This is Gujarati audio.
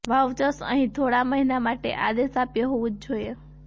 વાઉચર્સ અહીં થોડા મહિના માટે આદેશ આપ્યો હોવું જ જોઈએ